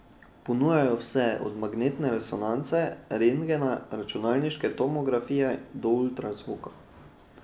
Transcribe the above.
Ponujajo vse od magnetne resonance, rentgena, računalniške tomografije do ultrazvoka.